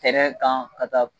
Tɛrɛ kan ka taa